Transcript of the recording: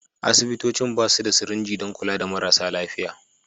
Asibitocin ba su da sirinji don kula da marasa lafiya.